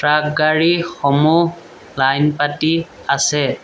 Truck গাড়ীসমূহ line পাতি আছে।